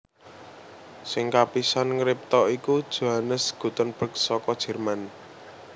Sing kapisan ngripta iku Johannes Gutenberg saka Jerman